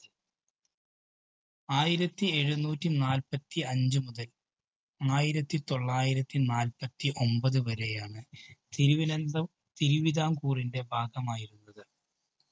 ആയിരത്തിഎഴുനൂറ്റി നാല്പത്തിഅഞ്ചു മുതല്‍ ആയിരത്തിതൊള്ളായിരത്തി നാല്പത്തിഒമ്പത് വരെയാണ് തിരുവനന്തം തിരുവിതാംകൂറിന്റെ ഭാഗമായിരുന്നത്.